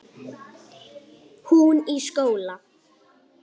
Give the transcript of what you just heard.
Hún í skóla.